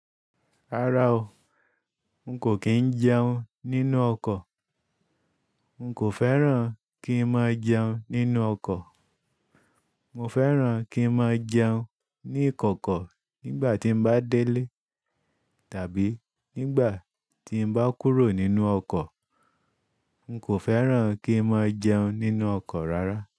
Rárá o, n kò kí n jẹun nínú ọkọ̀. N kò fẹ́ràn kí n máa jẹun nínú ọkọ̀. Mo fẹ́ràn kí n máa jẹun ní ìkọ̀kọ̀ nígbà tí n bá délé tàbí nígbà tí n bá kúrò nínú ọkọ̀. N kò fẹ́ràn kí n máa jẹun nínú ọkọ̀ rárá.